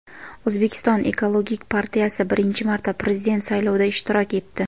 O‘zbekiston ekologik partiyasi birinchi marta prezident saylovida ishtirok etdi.